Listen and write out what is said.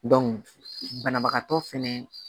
banabagatɔ fɛnɛ